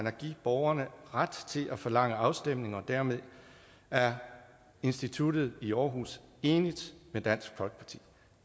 at give borgerne ret til at forlange afstemninger og dermed er instituttet i aarhus enigt med dansk folkeparti